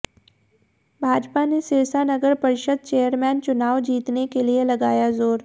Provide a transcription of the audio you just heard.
भाजपा ने सिरसा नगर परिषद चेयरमैन चुनाव जीतने के लिये लगाया जोर